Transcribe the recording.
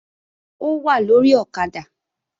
Ó wà lórí ọ̀kadà